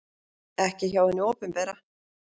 Ekki hjá hinu opinbera.